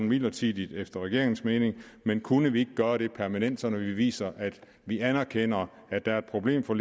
midlertidigt efter regeringens mening men kunne vi ikke gøre det permanent sådan at vi viser at vi anerkender at der er et problem for